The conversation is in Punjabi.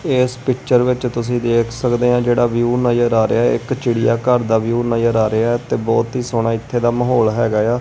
ਇਸ ਪਿਕਚਰ ਵਿੱਚ ਤੁਸੀਂ ਦੇਖ ਸਕਦੇ ਹਾਂ ਜੇਹੜਾ ਵਿਊ ਨਜ਼ਰ ਆ ਰਿਹਾ ਹੈ ਇੱਕ ਚਿੜੀਆਘਰ ਦਾ ਵਿਊ ਨਜ਼ਰ ਆ ਰਿਹਾ ਹੈ ਤੇ ਬਹੁਤ ਹੀ ਸੋਹਣਾ ਇੱਥੇ ਦਾ ਮਾਹੌਲ ਹੈਗਾ ਆ।